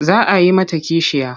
Za a yi mata kishiya.